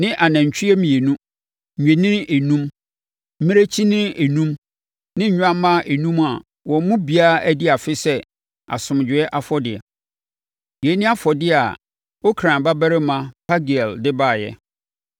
ne anantwie mmienu, nnwennini enum, mmirekyinini enum ne nnwammaa enum a wɔn mu biara adi afe sɛ asomdwoeɛ afɔdeɛ. Yei ne afɔdeɛ a Okran babarima Pagiel de baeɛ.